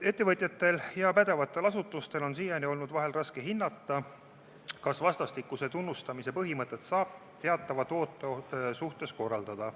Ettevõtjatel ja pädevatel asutustel on siiani olnud vahel raske hinnata, kas vastastikuse tunnustamise põhimõtet saab teatava toote suhtes kohaldada.